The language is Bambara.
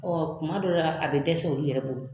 kuma dɔ la a bɛ dɛsɛw olu yɛrɛ bolo.